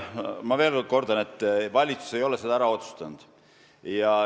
Ma veel kord kordan, et valitsus ei ole seda ära otsustanud.